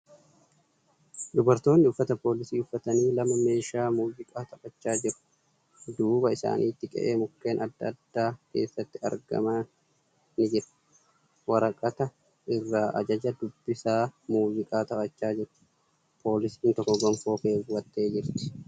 Dubartoonni uffata poolisii uffatanii lama meeshaw muuziqaa taphachaa jiru. Duuba isaanitti qe'ee mukkeen adda addaa keessatti argamam ni jira. Waraqata irraa ajaja dubbisaa muuziqaa taphachaa jiru. Poolisiin tokko gonfoo keewwattee jirti.